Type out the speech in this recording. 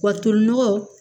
Wa tolinɔgɔn